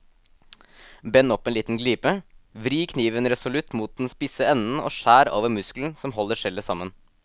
Bend opp en liten glipe, vri kniven resolutt mot den spisse enden og skjær over muskelen som holder skjellet sammen.